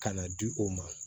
Ka na di o ma